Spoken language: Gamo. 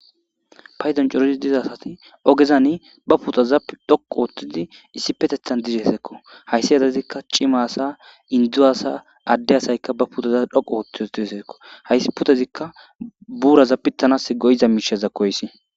paydon cori diza asati ogezan ba putaza dhoqu oothtidi issi petethan dizeseekko hayssi adazikka cima asa indzu asa adde asayka ba putaza dhoqu oottiootiheseekko hayssi pudazikka buuraza pittanas goyiza miishaza koyssi